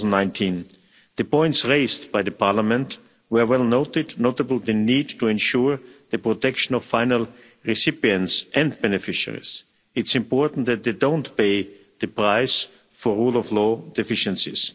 2019. The points raised by Parliament were well noted, notably the need to ensure the protection of final recipients and beneficiaries. It's important that they don't pay the price for rule of law deficiencies.